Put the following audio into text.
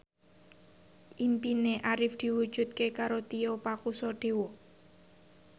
impine Arif diwujudke karo Tio Pakusadewo